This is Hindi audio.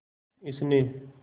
इसने